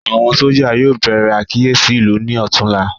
Àwọn sójà yóò bèrè àkíyèsí ìlú ní ọtún la